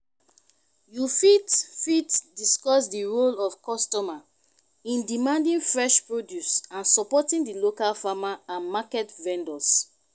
you fit fit discuss di role of customer in demanding fresh produce and supporting di local farmer and market vendors.